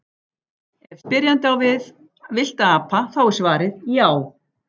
Ef spyrjandi á við villta apa þá er svarið já.